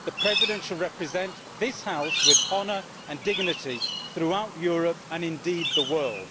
The President should represent this House with honour and dignity throughout Europe and indeed the world.